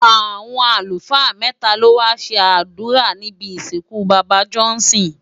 Awọn alúfaa mètá ló wá ṣé adúrá nibi isinkú baba Johnson